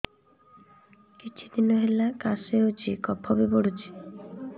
କିଛି ଦିନହେଲା କାଶ ହେଉଛି କଫ ବି ପଡୁଛି